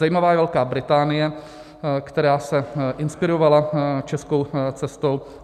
Zajímavá je Velká Británie, která se inspirovala českou cestou.